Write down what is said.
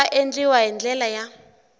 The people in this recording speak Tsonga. nga endliwa hi ndlela ya